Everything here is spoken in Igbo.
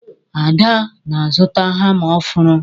Ada na-azụta hama ọhụrụ